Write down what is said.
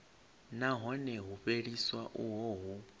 nahone u fheliswa uho hu